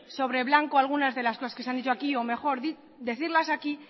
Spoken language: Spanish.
sobre blanco algunas de las cosas que se han dicho aquí o mejor decirlas aquí